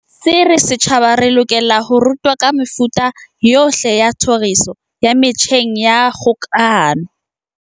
se re setjhaba se lokela ho rutwa ka mefuta yohle ya tlhoriso ya metjheng ya kgokahano.